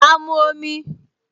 Ma mu omi